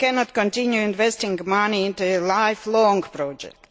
We cannot continue investing money into a lifelong project.